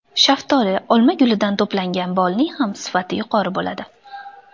Shaftoli, olma gulidan to‘plangan bolning ham sifati yuqori bo‘ladi.